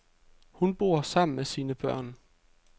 Hun bor sammen med sine børn.